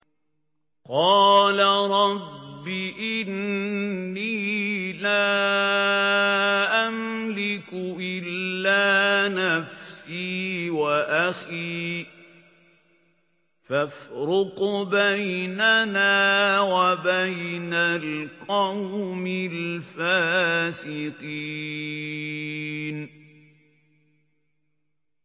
قَالَ رَبِّ إِنِّي لَا أَمْلِكُ إِلَّا نَفْسِي وَأَخِي ۖ فَافْرُقْ بَيْنَنَا وَبَيْنَ الْقَوْمِ الْفَاسِقِينَ